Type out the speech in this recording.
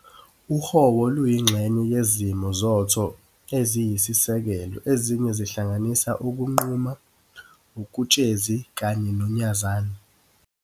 uHowo luyingxenye yezimo zoTho eziyisisekelo ezinye zihlanganisa ukuNquma, uketshezi kanye noNyazani.